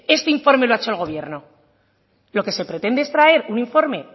este informe lo ha hecho el gobierno lo que se pretende es traer un informe